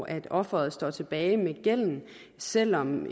at offeret står tilbage med gælden selv om